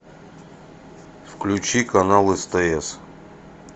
включи канал стс